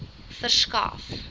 verskaf